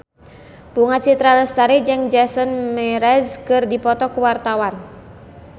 Bunga Citra Lestari jeung Jason Mraz keur dipoto ku wartawan